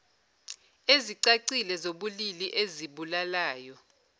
ezicacile zobulili ezibulalayo